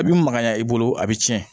I bi magaya i bolo a bi cɛn